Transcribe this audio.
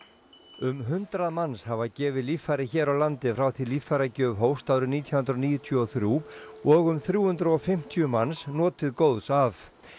um hundrað manns hafa gefið líffæri hér á landi frá því líffæragjöf hófst árið nítján hundruð níutíu og þrjú og um þrjú hundruð og fimmtíu manns notið góðs af